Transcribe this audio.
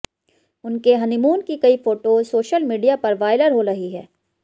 उनके हनीमून की कई फोटोज सोशल मीडिया पर वायरल हो रही हैं